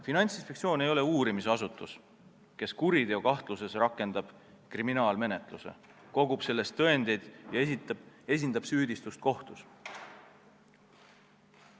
Finantsinspektsioon ei ole uurimisasutus, kes kuriteokahtluse korral rakendab kriminaalmenetluse, kogub tõendeid ja esindab süüdistust kohtus.